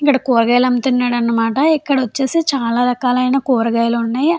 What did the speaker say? ఇక్కడ కూరగాయలు అమ్ముతున్నాడు అన్నమాట ఇక్కడ వచ్చేసి చాల రకాలైన కూరగాయలు ఉన్నాయ్ --